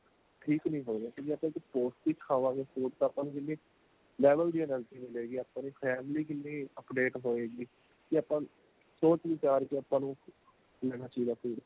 ਠੀਕ ਨੀਂ ਹੋਏਗਾ ਕਿਉਂਕਿ ਆਪਾਂ ਇੱਕ ਪੋਸਟਿਕ ਖਾਵਾਗੇ food ਤਾਂ ਆਪਾਂ ਨੂੰ ਜਿੰਨੇ level ਦੀ energy ਮਿਲੇਗੀ ਆਪਾਂ ਨੂੰ family ਕਿੰਨੀ update ਹੋਏਗੀ ਕੀ ਆਪਾਂ ਨੂੰ ਸੋਚ ਵਿਚਾਰ ਕੇ ਆਪਾਂ ਨੂੰ ਲੈਣਾ ਚਾਹੀਦਾ food